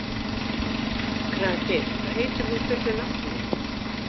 Kraki, hvað heitir þú fullu nafni?